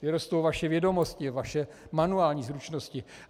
Kdy rostou vaše vědomosti, vaše manuální zručnosti.